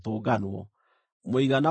mũigana wao warĩ andũ 8,580.